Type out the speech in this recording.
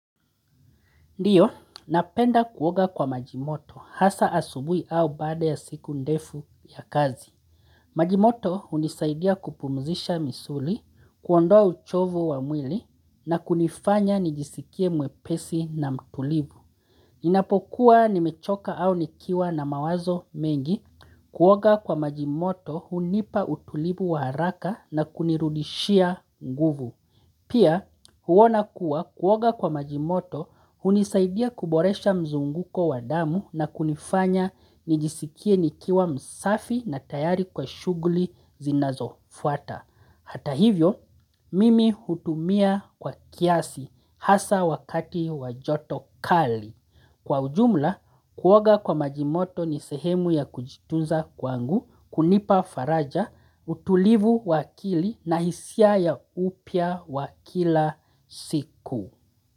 Ndiyo, napenda kuoga kwa maji moto hasa asubuhi au baada ya siku ndefu ya kazi. Maji moto hunisaidia kupumzisha misuli, kuondoa uchovu wa mwili na kunifanya nijisikie mwepesi na mtulivu. Inapokuwa nimechoka au nikiwa na mawazo mengi, kuoga kwa maji moto hunipa utulivu wa haraka na kunirudishia nguvu. Pia huona kuwa kuoga kwa majimoto hunisaidia kuboresha mzunguko wa damu na kunifanya nijisikie nikiwa msafi na tayari kwa shughuli zinazofuata. Hata hivyo, mimi hutumia kwa kiasi hasa wakati wa joto kali. Kwa ujumla, kuoga kwa maji moto ni sehemu ya kujitunza kwangu, kunipa faraja, utulivu wa akili na hisia ya upya wa kila siku.